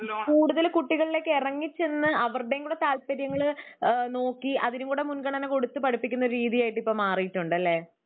കൂടുതല് കുട്ടികളിലേക്ക് ഇറങ്ങി ചെന്ന്.അവരുടെയും താല്പര്യങ്ങള് നോക്കി അതിനും കൂടെ മുൻഗണന കൊടുത്ത്‌ പഠിപ്പിക്കുന്ന രീതിയായിട്ട് മാറിയിട്ടുണ്ടല്ലേ.